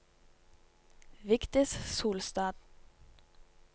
Vigdis Solstad